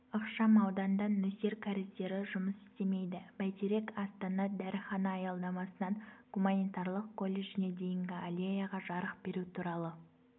ықшам ауданда нөсер кәріздері жұмыс істемейді бәйтерек астана дәріхана аялдамасынан гуманитарлық колледжіне дейінгі аллеяға жарық беру туралы